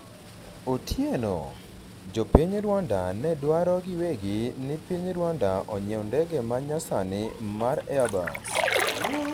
Otieno:jopiny Rwanda ne dwaro giwegi ni piny Rwanda onyiew ndege ma nya sani mar Airbus